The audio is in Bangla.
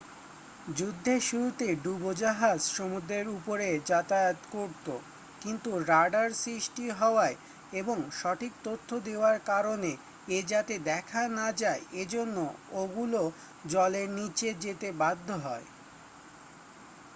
যুদ্ধের শুরুতে ডুবোজাহাজ সমুদ্রের উপরে যাতায়াত করতো কিন্তু রাডার সৃষ্টি হওয়ায় এবং সঠিক তথ্য দেওয়ার কারণ এ যাতে দেখা না যায় এজন্য ওগুলো জলের নীচে যেতে বাধ্য হয়